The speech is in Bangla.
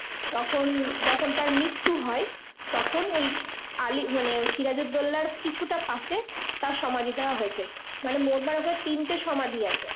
তখন যখন তার মৃত্যু হয় তখন ওই আলী মানে সিরাজুদ্দোল্লার কিছুটা পাশে তার সমাধি দেওয়া হয়েছে। মানে মোটমাট ওখানে তিনটে সমাধি আছে।